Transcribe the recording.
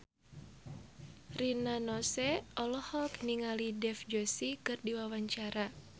Rina Nose olohok ningali Dev Joshi keur diwawancara